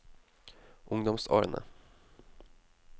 ungdomsårene